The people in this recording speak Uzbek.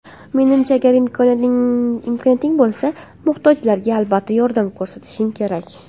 Menimcha: agar imkoniyating bo‘lsa, muhtojlarga albatta yordam ko‘rsatishing kerak.